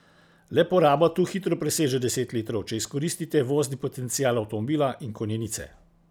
Le poraba tu hitro preseže deset litrov, če izkoristite vozni potencial avtomobila in konjenice.